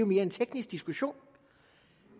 mere en teknisk diskussion